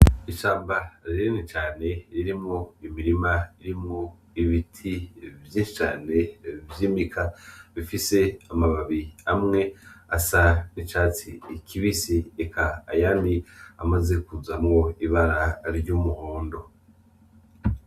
Ishamba rinini cane ririmwo imirima irimwo ibiti vyinshi cane vy'imika bifise amababi amwe asa n'icatsi kibisi, eka ayandi amaze kuzamwo ibara ry'umuhondo.